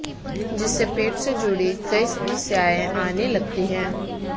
जिससे पेट से जुड़ी कई समस्याएं आने लगती हैं